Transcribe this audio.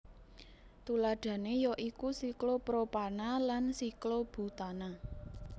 Tuladhané ya iku siklopropana lan siklobutana